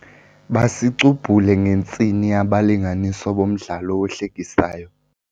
Basicubhule ngentsini abalinganiswa bomdlalo ohlekisayo.